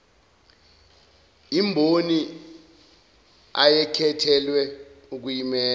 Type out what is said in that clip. imboni ayekhethelwe ukuyimela